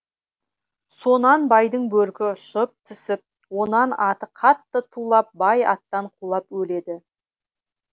сонан байдың бөркі ұшып түсіп онан аты қатты тулап бай аттан құлап өледі